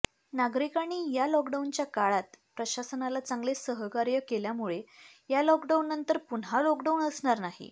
नागरिकांनी या लॉकडाऊनच्या काळात प्रशासनाला चांगले सहकार्य केल्यामुळे या लॉकडाउननंतर पुन्हा लॉकडाउन असणार नाही